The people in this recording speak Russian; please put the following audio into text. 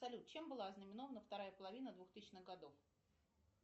салют чем была ознаменована вторая половина двухтысячных годов